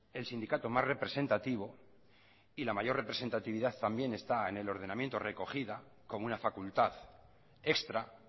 el sindicato más representativo y la mayor representatividad también está en el ordenamiento recogida como una facultad extra